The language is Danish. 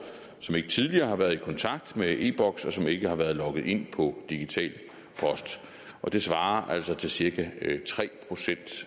som ikke tidligere har været i kontakt med e boks og som ikke har været logget ind på digital post og det svarer altså til cirka tre procent